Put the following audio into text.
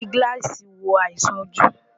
À ń fi gíláàsì wo àìsàn ojú.